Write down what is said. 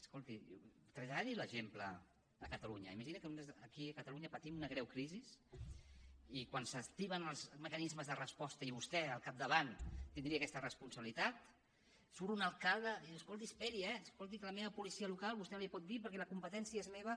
escolti traslladi l’exemple a catalunya imagini’s que aquí a catalunya patim una greu crisi i quan s’activen els mecanismes de resposta i vostè al capdavant tindria aquesta responsabilitat surt un alcalde i diu escolti esperi eh escolti que a la meva policia local vostè no li ho pot dir perquè la competència és meva